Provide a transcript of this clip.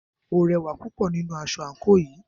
O rẹwà púpọ̀ nínú aṣọ àńkò yìí.